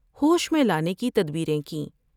ہوش میں لانے کی تدبیریں کیں ۔